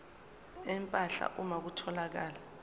empahla uma kutholakala